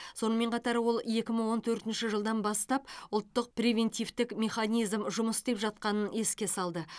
сонымен қатар ол екі мың он төртінші жылдан бастап ұлттық превентивтік механизм жұмыс істеп жатқанын еске салды